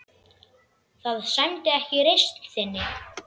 Það sæmdi ekki reisn þinni.